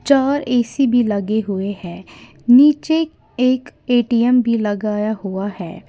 चार ऐसी भी लगे हुए हैं नीचे एक ए_टी_एम भी लगाया हुआ है।